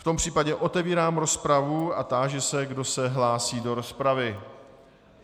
V tom případě otevírám rozpravu a táži se, kdo se hlásí do rozpravy.